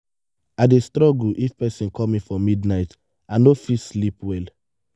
i dey struggle if person call me for midnight i no fit sleep well.